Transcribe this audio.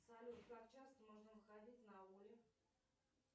салют как часто можно выходить на ауле